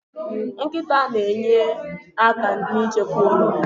Nkịta na enye aka n'ịchekwa ụlọ.